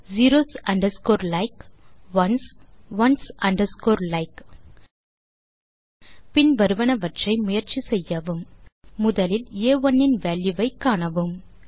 zeros underscore like ones ones underscore like பின் வருவனவற்றை முயற்சி செய்யவும் முதலில் ஆ1 இன் வால்யூ வை காணவும்